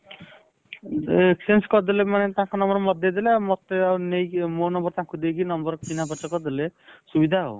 ଏ exchange କରିଦେଲେ ମାନେ ତାଙ୍କ number ମତେ ଦେଇଦେଲେ ଆଉ ମତେ ନେଇକି ମୋ number ତାଙ୍କୁ ଦେଇକି number ଚିହ୍ନା ପରିଚୟ କରିଦେଲେ ସୁବିଧା ଆଉ